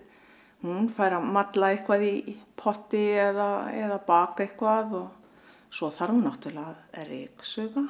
hún fær að malla eitthvað í potti eða baka eitthvað og svo þarf náttúrulega að ryksuga